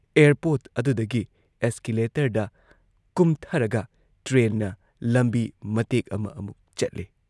Airport ꯑꯗꯨꯗꯒꯤ ꯑꯦꯁꯀꯦꯂꯦꯇꯔꯗ ꯀꯨꯝꯊꯔꯒ ꯇ꯭ꯔꯦꯟꯅ ꯂꯝꯕꯤ ꯃꯇꯦꯛ ꯑꯃ ꯑꯃꯨꯛ ꯆꯠꯂꯦ ꯫